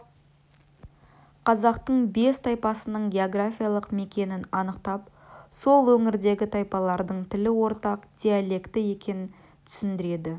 қазақтың бес тайпасының географиялық мекенін анықтап сол өңірдегі тайпалардың тілі ортақ диалекті екенін түсіндіреді